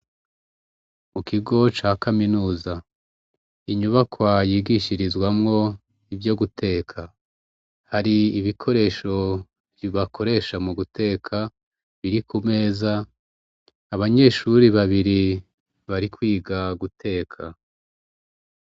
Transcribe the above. Mukigo ca kaminuza inyubakwa yigishirizwamwo ivyo guteka hari ibikoresho bakoresha muguteka biri kumeza abanyeshure babiri barikwiga guteka